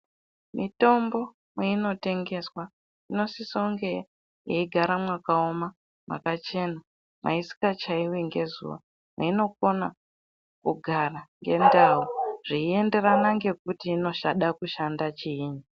Mitombo mwainotengeswa inosisa kunge yeigara mwakaoma mwakachena musikachaivi ngezuva. Mweinokona kugara ngendau zveienderana ngekuti inoshada kushanda chiini.